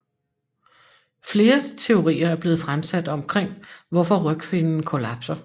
Flere teorier er blevet fremsat omkring hvorfor rygfinnen kollapser